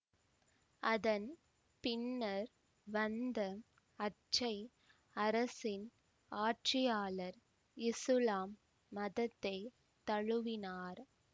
அதன் பின்னர் வந்த அச்சே அரசின் ஆட்சியாளர் இசுலாம் மதத்தை தழுவினார்